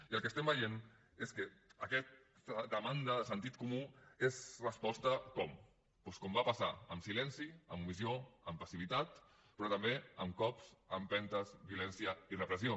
i el que veiem és que aquesta demanda de sentit comú és resposta com doncs com va passar amb silenci amb omissió amb passivitat però també amb cops empentes violència i repressió